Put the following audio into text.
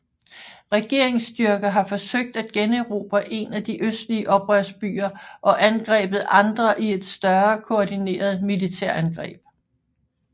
Regeringsstyrker har forsøgt at generobre en af de østlige oprørsbyer og angrebet andre i et større koordineret militærangreb